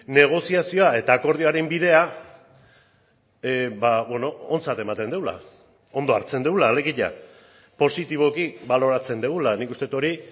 negoziazioa eta akordioaren bidea ontzat ematen dugula ondo hartzen dugula alegia positiboki baloratzen dugula nik uste dut hori